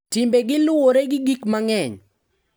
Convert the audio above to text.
Timbegi luwore gi gik mang`eny.